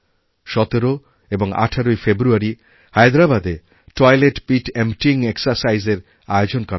১৭ এবং ১৮ই ফেব্রুয়ারিহায়দ্রাবাদে টয়লেট পিট এম্পটিং এক্সারসাইজ এর আয়োজন করা হয়েছিল